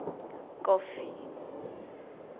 kofi